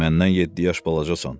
Məndən yeddi yaş balacasan.